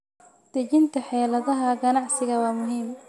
Dejinta xeeladaha ganacsiga waa muhiim.